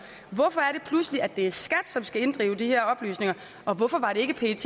hvorfor er det pludselig at det er skat som skal inddrive de her oplysninger og hvorfor er det ikke pet